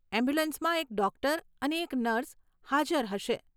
એમ્બ્યુલન્સમાં એક ડોક્ટર અને એક નર્સ હાજર હશે.